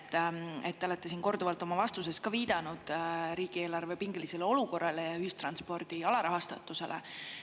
Te olete siin korduvalt oma vastustes ja viidanud riigieelarve pingelisele olukorrale ja ühistranspordi alarahastusele.